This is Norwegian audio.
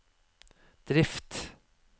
drift